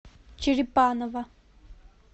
черепаново